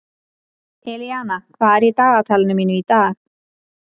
Elíana, hvað er í dagatalinu mínu í dag?